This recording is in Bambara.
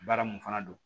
Baara mun fana don